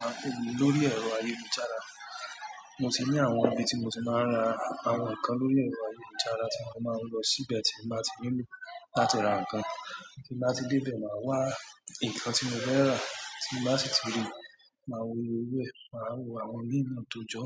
Mo máa ń rà èwù lórí ẹ̀rọ ayélujára. Mo ti ní àwọn ibi tí mo ti máa ń ra àwọn nǹkan lórí ẹ̀rọ ayélujára tí mo máa ń lọ síbẹ̀ tí màá ti rìnú láti ra nǹkan. Kí n bá ti dé ibẹ̀, màá wá nǹkan tí mo fẹ́ rà tí n bá sì ti rí, màá wo oye owo e, màá wo àwọn miin tojo